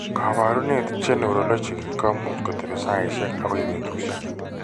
Kaabarunet che neurologic ko much kotepi saaisiek akoi betusiek.